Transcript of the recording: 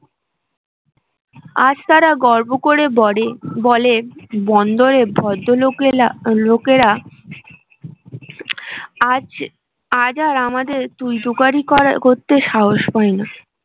আজ তারা গর্ব করে বটে বলে বন্দরে ভদ্র লোকেরা আজ আজ আর আমাদের তুই তুকারি করা করতে সাহস পায়না আ